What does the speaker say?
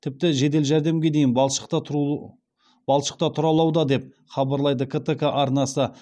тіпті жедел жәрдемге дейін балшықта тұралауда деп хабарлайды ктк арнасы